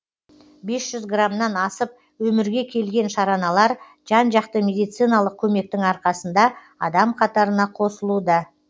бес жүз грамнан асып өмірге келген шараналар жан жақты медициналық көмектің арқасында адам қатарына қосылуда